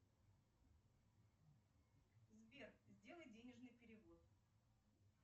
сбер сделай денежный перевод